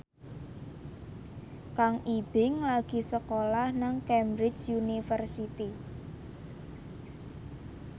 Kang Ibing lagi sekolah nang Cambridge University